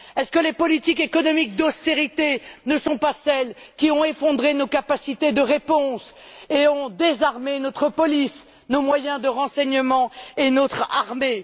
Est ce que les politiques économiques d'austérité ne sont pas celles qui ont effondré nos capacités de réponse et ont désarmé notre police, nos moyens de renseignement et notre armée?